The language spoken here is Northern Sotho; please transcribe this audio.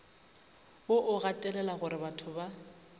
wo o gatelela gorebatho ba